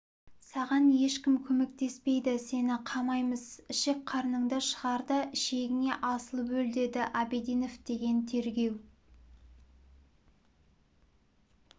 саған ешкім көмектеспейді сені қамаймыз ішек-қарныңды шығар да ішегіңе асылып өл деді абидинов деген тергеу